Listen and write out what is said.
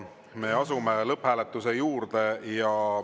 Me asume lõpphääletuse juurde.